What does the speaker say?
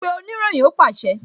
Pe oniroyin! Ó pàṣẹ